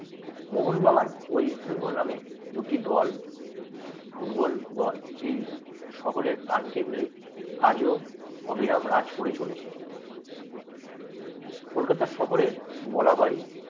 মোহনবাগান ও ইস্টবেঙ্গল নামে দুটি দল ফুটবল দল এই শহরে প্রাণকেন্দ্রে আজও অবিরাম রাজ করে চলেছে কলকাতা শহরে বলা হয়।